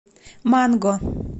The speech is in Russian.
манго